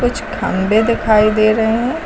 कुछ खम्भे दिखाई दे रहे हैं।